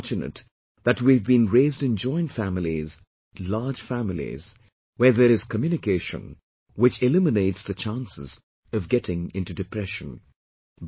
We are fortunate that we have been raised in joint families, large families, where there is communication, which eliminates the chances of getting into depression